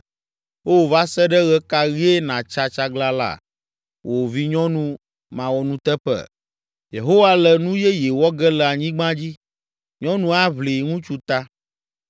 O, va se ɖe ɣe ka ɣie nàtsa tsaglãla, wò vinyɔnu mawɔnuteƒe? Yehowa le nu yeye wɔ ge le anyigba dzi, nyɔnu aʋli ŋutsu ta.”